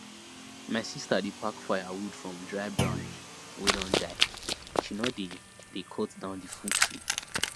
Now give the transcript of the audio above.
my sister dey pack firewood from dry branch wey don die she no dey dey cut down the full tree